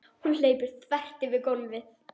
Hún hleypur þvert yfir gólfið.